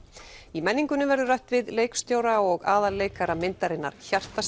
í menningunni verður rætt við leikstjóra og aðalleikara myndarinnar